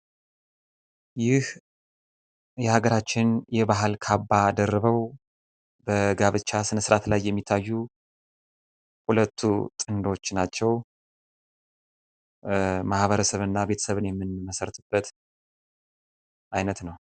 ይህ የሀገራችን የባህል ካባ ደርበው በጋብቻ ስነስርዓት ላይ የሚታዩ ሁለቱ ጥንዶች ናቸው። ማህበረሰብን እና ቤተሰብን የምንመሰርትበት አይነት ነው።